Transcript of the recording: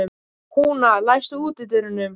Húna, læstu útidyrunum.